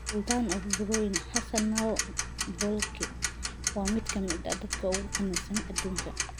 Sultan of Brunei Hassanal Bolkiah waa mid ka mid ah dadka ugu qanisan adduunka.